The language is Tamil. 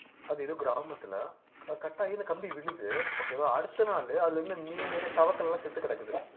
அது ஏதோ கிராமத்துல அஹ் cut ஆகி இந்த கம்பி விழுது okay வா அடுத்த நாளு அதுல இருந்த மீன் தவக்களை எல்லாம் செத்துக் கிடக்குது